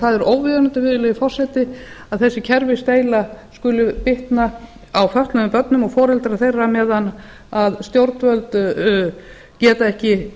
það er óviðunandi virðulegi forseti að þessi kerfisdeila skuli bitna á fötluðum börnum og foreldrum þeirra eða stjórnvöld geta ekki